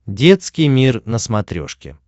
детский мир на смотрешке